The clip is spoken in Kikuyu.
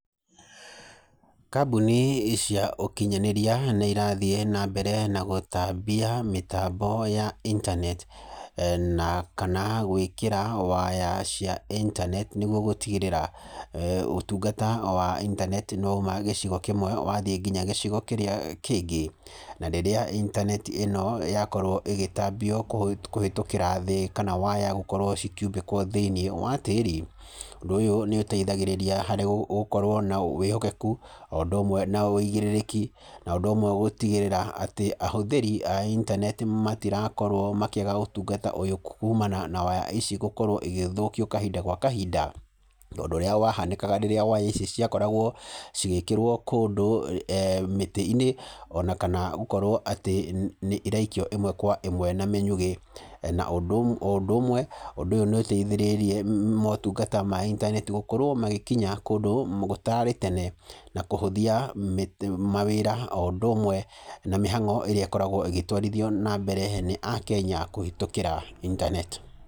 Kambuni cia ũkinyanĩria nĩ irathiĩ na mbere na gũtambia mĩtambo ya internet na kana gwĩkĩra waya cia internet nĩguo gũtigĩrĩra ũtungata wa internet nĩ wauma gĩcigo kĩmwe, wathiĩ nginya gĩcigo kĩrĩa kĩngĩ. Na rĩrĩa internet ĩno yakorwo ĩgĩtambio kũhĩtũkĩra thĩĩ, kana waya gũkorwo ci kiumbĩkwo thĩiniĩ wa tĩĩri, ũndũ ũyũ nĩ ũteithagĩrĩria harĩ gũkorwo na wĩhokeku, o ũndũ ũmwe na wũigĩrĩrĩki, na ũndũ ũmwe na gũtigĩrĩra atĩ ahũthĩri a internet matĩrakorwo makĩaga ũtungata ũyũ kuumana na waya ici gũkorwo igĩthũkio kahinda gwa kahinda, tondũ ũrĩa wa hanĩkaga rĩrĩa waya ici ciakoragwo cigĩkĩrwo kũndũ mĩtĩ-inĩ, ona kana gũkorwo atĩ nĩ iraikio ĩmwe kwa ĩmwe na mĩnyugĩ, na o ũndũ ũmwe ũndũ ũyũ nĩ ũteithĩrĩirie motungata ma internet gũkorwo magĩkinya kũndũ gũtararĩ tene, na kũhũthia mawĩra, o ũndũ ũmwe na mĩhango ĩrĩa ĩkoragwo ĩgĩtwarithio na mbere nĩ akenya kũhĩtũkĩra internet.